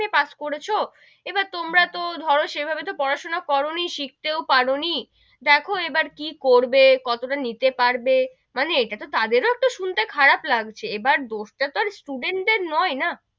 pass করেছো এবার তোমরা তো ধরো সেভাবে তো পড়া সোনা করো নি, শিখতেও পারো নি, দেখো এবার কি করবো, কত তা নিতে পারবে, মানে ইটা তো তাদের ও একটা শুনতে খারাপ লাগছে, এবার দোষ টা তো student দের নোই না,